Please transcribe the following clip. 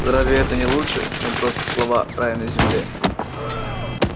разве это не лучше чем просто слова рай на земле